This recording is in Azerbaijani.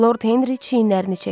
Lord Henri çiyinlərini çəkdi.